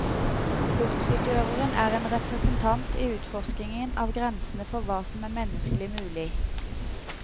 Sportsutøveren er en representant i utforskningen av grensene for hva som er menneskelig mulig.